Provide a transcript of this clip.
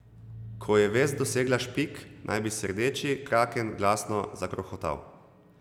Ko je vest dosegla Špik, naj bi se Rdeči kraken glasno zakrohotal.